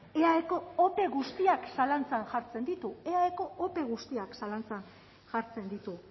eaeko ope guztiak zalantzan jartzen ditu eaeko ope guztiak zalantzan jartzen ditu